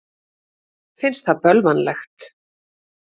Finnst það bölvanlegt.